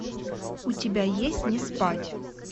у тебя есть не спать